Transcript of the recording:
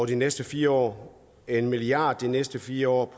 de næste fire år en milliard de næste fire år